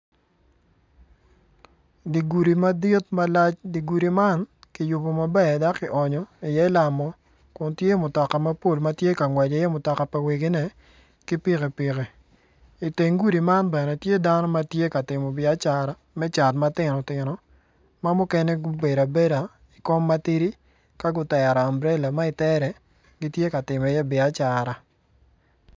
Di gudi madit malac di gudi man kiyubu maber dok ki oonyo i iye lamo kun tye mutoka mabol ma tye ka ngwec i iye mutoka pa wegine ki pikipiki i teng gudi man bene tye dano ma tye ka timo biacara me cat matino tino ma mukene gubedo abeda ikom matidi ka gutero amburela mo itere gitye ka timo iye biacara